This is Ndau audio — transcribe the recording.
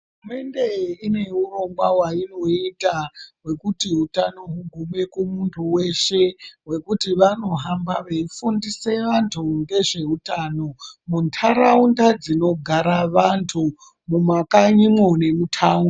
Hurumende ineurongwa wainoita wekuti utano hugume kumuntu weshe wekuti vanohamba veifundisa vantu ngezveutano muntaraunda dzinogara vantu mumakanyimwo nemutaunti.